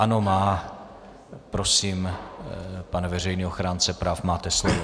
Ano, má. Prosím, pane veřejný ochránce práv, máte slovo.